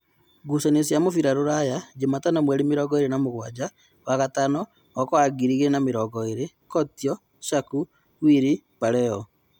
Ngucanio cia mũbira Rũraya Jumatano mweri mĩrongoĩrĩ na-mũgwaja wa gatano mwaka wa ngiri igĩrĩ na-mĩrongoĩrĩ: Kotio, Shaku, Wili, Paleo